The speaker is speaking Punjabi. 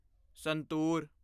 ਸੰਤੂਰ